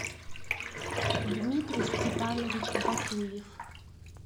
дмитрий степанович батуев